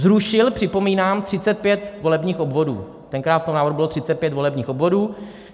Zrušil, připomínám, 35 volebních obvodů - tenkrát v tom návrhu bylo 35 volebních obvodů.